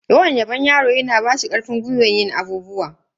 Yawan yabon yaro yana bashi karfin gwiwan yin abubuwa.